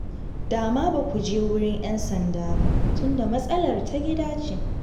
Dama ba ku je wurin 'yan sanda ba, tunda matsalar ta gida ce